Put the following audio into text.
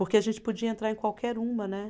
Porque a gente podia entrar em qualquer uma, né.